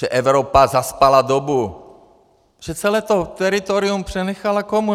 Že Evropa zaspala dobu, že celé to teritorium přenechala komu?